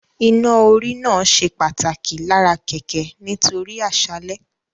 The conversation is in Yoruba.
Iná-orí náà ṣe pàtàkì lára kẹ̀kẹ́ nítorí àṣálẹ́